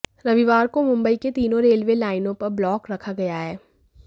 रविवार को मुंबई के तीनो रेलवे लाईनो पर ब्लॉक रखा गया है